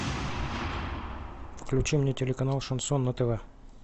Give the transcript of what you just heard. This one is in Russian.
включи мне телеканал шансон на тв